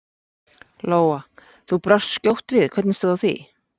Lóa: Þú brást skjótt við, hvernig stóð á því?